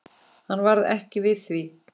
Hann varð ekki við því.